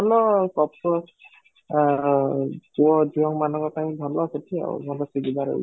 ଭଲ coffee shop ଆଉ ପୁଅ ଝିଅ ମାନଙ୍କ ପାଇଁ ଭଲ ସେଠି ଆଉ ଭଲ ସୁବିଧା ରହିବ